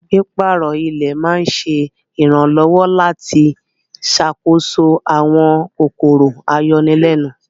Pípàárọ̀ ilẹ̀ ma ǹṣẹ iranlọwọ̀ lati ṣákóso awọn kòkòrò ayọ̀nilẹ̀nun.